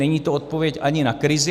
Není to odpověď ani na krizi.